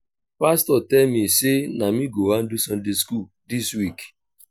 pastor tell me say na me go handle sunday school dis week